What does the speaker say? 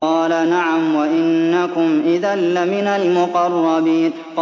قَالَ نَعَمْ وَإِنَّكُمْ إِذًا لَّمِنَ الْمُقَرَّبِينَ